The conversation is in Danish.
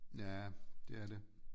Ja det er det